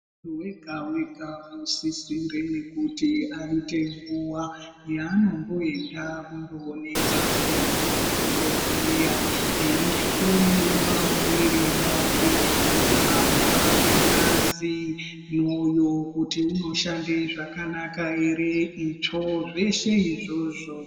Wega wega unosisonge kuti aite nguwa yaanomboenda kundoonekwa ndianana dhokodheya eihloiwa muwiri wake kuhamba kwengazi mwoyo kuti u oshande zvakanaka ere itsvo zveshe izvozvo.